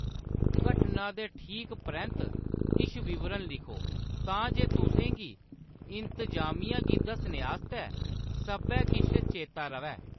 घटना दे ठीक परैंत्त किश विवरण लिखो तां जे तुसें गी इंतजामिया गी दस्सने आस्तै सब्भै किश चेतै र'वै।